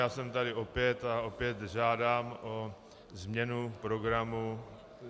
Já jsem tady opět a opět žádám o změnu programu.